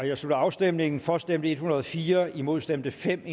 jeg slutter afstemningen for stemte en hundrede og fire imod stemte fem